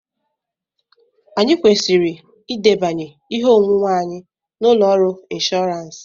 Anyị kwesịrị edebanye ihe onwunwe anyị na ụlọ ọrụ inshọọransi,